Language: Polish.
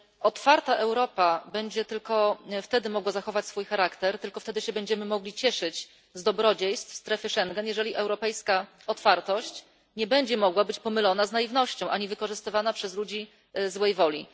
Otwarta Europa będzie tylko wtedy mogła zachować swój charakter, tylko wtedy się będziemy mogli cieszyć z dobrodziejstw strefy Schengen, gdy europejska otwartość nie będzie mogła być mylona z naiwnością, ani wykorzystywana przez ludzi złej woli.